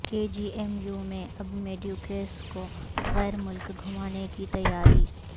کے G M U میں اب میڈیکوز کوغیر ملک گھمانے کی تیاری